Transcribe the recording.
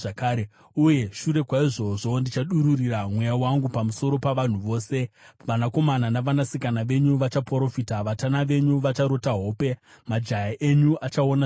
“Uye mushure maizvozvo, ndichadururira Mweya wangu pamusoro pavanhu vose. Vanakomana navanasikana venyu vachaprofita, vatana venyu vacharota hope, majaya enyu achaona zviratidzo.